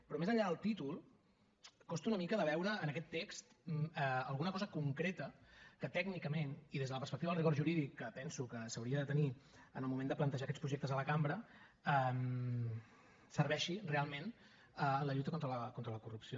però més enllà del títol costa una mica de veure en aquest text alguna cosa concreta que tècnicament i des de la perspectiva del rigor jurídic que penso que s’hauria de tenir en el moment de plantejar aquests projectes a la cambra serveixi realment en la lluita contra la corrupció